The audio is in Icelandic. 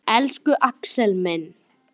Elsku Axel minn.